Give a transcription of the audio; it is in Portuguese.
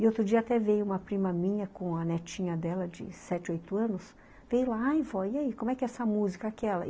E outro dia até veio uma prima minha com a netinha dela de sete, oito anos, veio lá , aí vó, e aí, como é que é essa música, aquela?